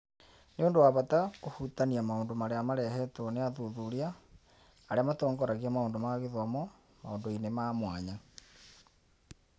Nĩ ũndũ wa bata kũhutania maũndũ marĩa marehetwo nĩ athuthuria arĩa matongoragia maũndũ ma gĩthomo maũndũ-inĩ ma mwanya.